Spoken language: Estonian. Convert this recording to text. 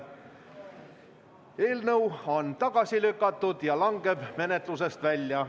Eelnõu on tagasi lükatud ja langeb menetlusest välja.